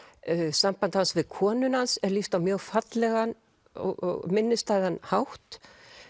sambandi hans við konuna hans er lýst á mjög fallegan og minnisstæðan hátt